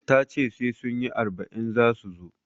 Tace sai sunyi arba'in zasu zo